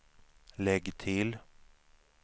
lägg till